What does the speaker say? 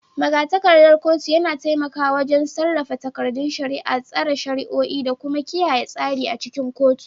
Magatakardar kotu yana taimakawa wajen sarrafa takardun shari'a, tsara shari'o'i, da kuma kiyaye tsari a cikin kotun.